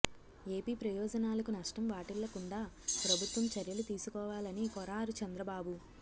AP ప్రయోజనాలకు నష్టం వాటిల్లకుండా ప్రభుత్వం చర్యలు తీసుకోవాలని కోరారు చంద్రబాబు